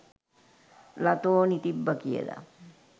ලතෝනි තිබ්බ කියල